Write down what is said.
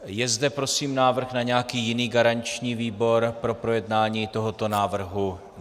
Je zde prosím návrh na nějaký jiný garanční výbor pro projednání tohoto návrh?